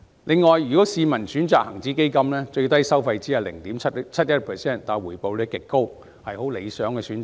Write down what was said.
此外，如市民選擇恒指基金，最低收費只需 0.71%， 但回報率極高，是很理想的選擇。